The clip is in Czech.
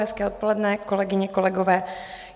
Hezké odpoledne, kolegyně, kolegové.